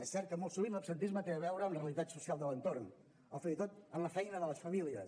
és cert que molt sovint l’absentisme té a veure amb la realitat social de l’entorn o fins i tot amb la feina de les famílies